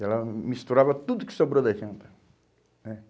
Ela hum hum misturava tudo que sobrou da janta, né?